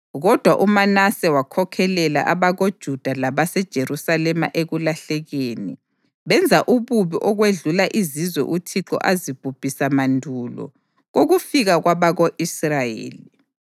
Kodwa uManase wakhokhelela abakoJuda labaseJerusalema ekulahlekeni, benza ububi okwedlula izizwe uThixo azibhubhisa mandulo kokufika kwabako-Israyeli.